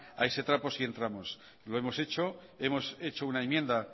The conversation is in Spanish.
a ese trapo sí entramos lo hemos hecho hemos hecho una enmienda